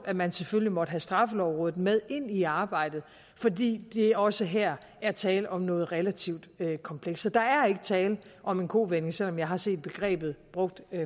at man selvfølgelig måtte have straffelovrådet med ind i arbejdet fordi der også her er tale om noget relativt komplekst så der er ikke tale om en kovending selv om jeg har set begrebet brugt